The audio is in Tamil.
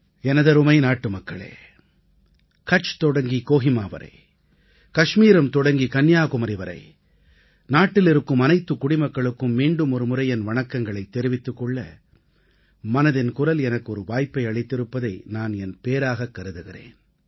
எனதருமை நாட்டுமக்களே கட்ச் தொடங்கி கோஹிமா வரை கஷ்மீரம் தொடங்கி கன்னியாகுமரி வரை நாட்டில் இருக்கும் அனைத்துக் குடிமக்களுக்கும் மீண்டும் ஒருமுறை என் வணக்கங்களைத் தெரிவித்துக் கொள்ள மனதின் குரல் எனக்கு ஒரு வாய்ப்பை அளித்திருப்பதை நான் என் பேறாகக் கருதுகிறேன்